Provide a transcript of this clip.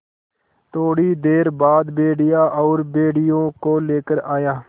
थोड़ी देर बाद भेड़िया और भेड़ियों को लेकर आया